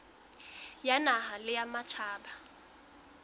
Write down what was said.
ya naha le ya matjhaba